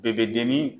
Bɛɛ bɛ dimi